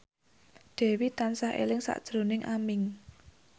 Dewi tansah eling sakjroning Aming